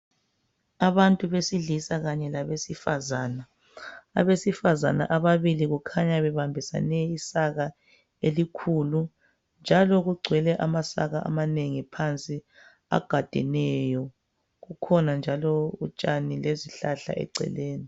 Abantu besilisa Kanye labesifazana , abesifazana ababili kukhanya bebambisane isaka elikhulu .Njalo kugcwele amasaka amanengi phansi agadeneyo .Kukhona njalo utshani lezihlahla eceleni.